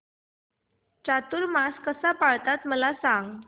चातुर्मास कसा पाळतात मला सांग